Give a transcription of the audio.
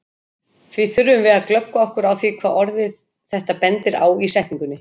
Því þurfum við að glöggva okkur á því hvað orðið þetta bendir á í setningunni.